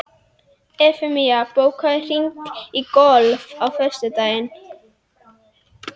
Evfemía, bókaðu hring í golf á föstudaginn.